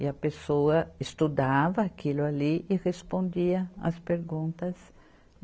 E a pessoa estudava aquilo ali e respondia as perguntas.